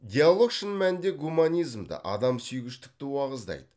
диалог шын мәнінде гуманизмді адамсүйгіштікті уағыздайды